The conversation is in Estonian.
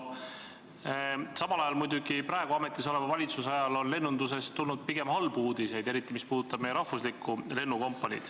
Samas praegu ametis oleva valitsuse ajal on lennundusest tulnud pigem halbu uudiseid, eriti mis puudutab meie rahvuslikku lennukompaniid.